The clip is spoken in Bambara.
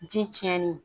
Ji tiɲɛnen